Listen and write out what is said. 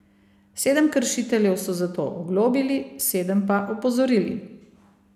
Sedem kršiteljev so zato oglobili, sedem pa opozorili.